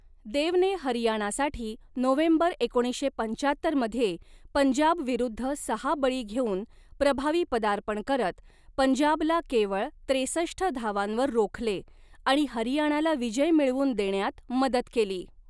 देवने हरियाणासाठी नोव्हेंबर एकोणीसशे पंचाहत्तरमध्ये पंजाबविरुद्ध सहा बळी घेऊन प्रभावी पदार्पण करत पंजाबला केवळ त्रेसष्ट धावांवर रोखले आणि हरियाणाला विजय मिळवून देण्यात मदत केली.